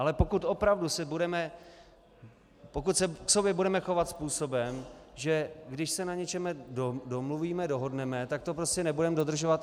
Ale pokud opravdu si budeme, pokud se k sobě budeme chovat způsobem, že když se na něčem domluvíme, dohodneme, tak to prostě nebudeme dodržovat...